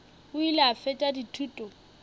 o ile a fetša dithuto